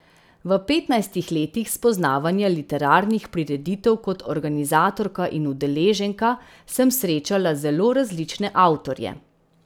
V petnajstih letih spoznavanja literarnih prireditev kot organizatorka in udeleženka, sem srečala zelo različne avtorje.